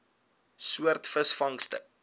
soort visvangste